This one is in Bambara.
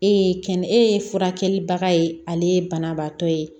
E ye kɛnɛ e ye furakɛlibaga ye ale ye banabaatɔ ye